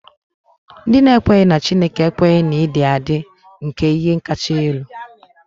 Ndị na-ekweghị na Chineke ekweghị na ịdị adị nke ihe kacha elu.